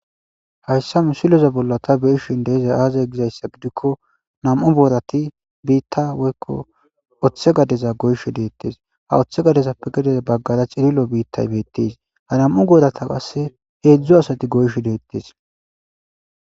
hayssa misileza bolla ta beeshin deeza aazay gizayssa gidikko nam7u boorati biitta woykko oththe gadeza goysho deettes ha oththe gadezappe gadeza baggara cirilo biittay beettis ha nam7u goorata passe heedzdzo asati goysho deettes